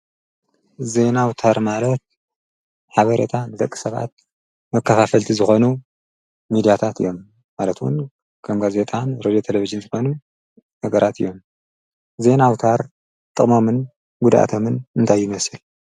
ዜናውታር ማለት ሓበሬታ ዘቂ ሰብዓት መካፋፈልቲ ዝኾኑ ሚዲያታት እዮም ማለትውን ከምና ዜጣን ሮዮ ተለብጅን ዝኾኑ ነገራት እዮም ዘናውታር ጥቕሞምን ጕዳእቶምን እንታይመስል።